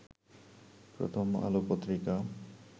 প্রথম আলো পত্রিকা